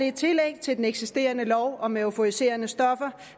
et tillæg til den eksisterende lov om euforiserende stoffer